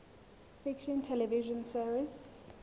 fiction television series